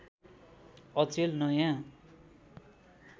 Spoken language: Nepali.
अचेल नयाँ